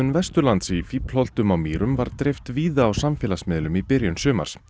Vesturlands í Fíflholtum á Mýrum var dreift víða á samfélagsmiðlum í byrjun sumars